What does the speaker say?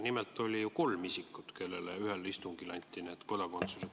Nimelt oli neid isikuid kolm, kellele ühel istungil anti kodakondsus.